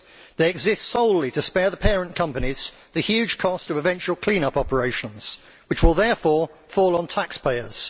They exist solely to spare the parent companies the huge cost of eventual clean up operations, which will therefore fall on the taxpayers.